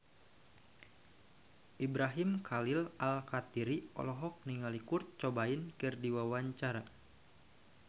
Ibrahim Khalil Alkatiri olohok ningali Kurt Cobain keur diwawancara